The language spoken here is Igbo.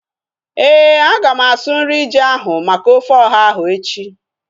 Éè, aga m asụ nri ji ahu maka ofe ọha ahu echi